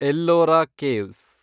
Ellora caves